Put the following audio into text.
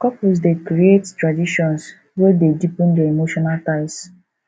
couples dey create traditions wey dey deepen their emotional ties